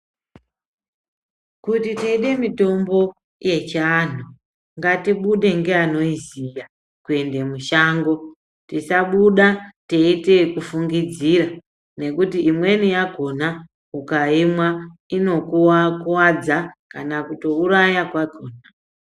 Kuti teide mitombo yechi antu ngatibude ngeanoiziya kuende mushango tisabuda teiite eku fungudzira nekuti imweni yakona ukaimwa inokuvadza kana kutouraya kwakona.